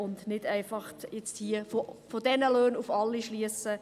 Wir können nicht einfach von diesen Löhnen auf alle schliessen.